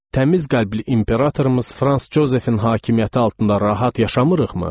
Təmiz qəlbli imperatorumuz Franz Jozefin hakimiyyəti altında rahat yaşamırıqmı?